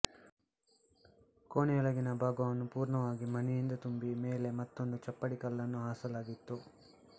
ಕೋಣೆಯೊಳಗಿನ ಭಾಗವನ್ನು ಪೂರ್ಣವಾಗಿ ಮಣ್ಣಿನಿಂದ ತುಂಬಿ ಮೇಲೆ ಮತ್ತೊಂದು ಚಪ್ಪಡಿಕಲ್ಲನ್ನು ಹಾಸಲಾಗಿತ್ತು